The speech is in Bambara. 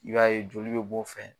I b'a ye joli be b'o fɛ.